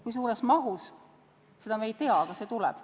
Kui suures mahus, seda me ei tea, aga see tuleb.